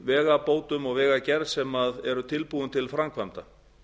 vegabótum og vegagerð sem eru tilbúin til framkvæmda